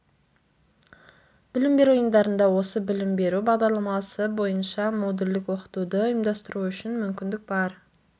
білім беру ұйымдарында осы білім беру бағдарламасы бойынша модульдік оқытуды ұйымдастыру үшін мүмкіндік бар